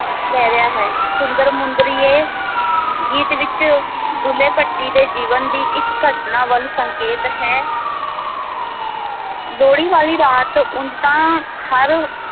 ਲੈ ਲਿਆ ਹੈ, ਸੁੰਦਰ ਮੁੰਦਰੀਏ ਗੀਤ ਵਿੱਚ ਦੁੱਲ੍ਹੇ ਭੱਟੀ ਦੇ ਜੀਵਨ ਦੀ ਇੱਕ ਘਟਨਾ ਵੱਲ ਸੰਕੇਤ ਹੈ ਲੋਹੜੀ ਵਾਲੀ ਰਾਤ ਉਂਞ ਤਾਂ ਹਰ